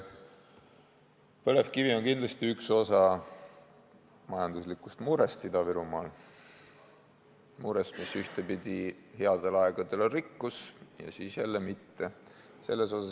Põlevkivi on kindlasti üks osa majanduslikust murest Ida-Virumaal, murest, mis headel aegadel on rikkus ja siis jälle mitte.